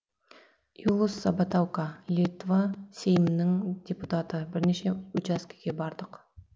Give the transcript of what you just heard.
юлюс сабатаука литва сеймінің депутаты бірнеше учаскеге бардық